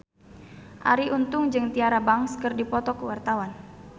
Arie Untung jeung Tyra Banks keur dipoto ku wartawan